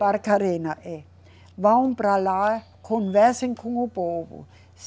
Barcarena, é. Vão para lá, conversem com o povo.